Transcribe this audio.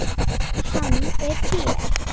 Hann er hér.